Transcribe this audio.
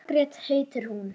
Margrét heitir hún.